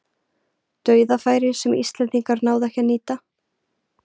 Dauðafæri sem íslendingar náðu ekki að nýta.